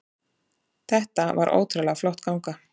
Þetta var ótrúlega flott ganga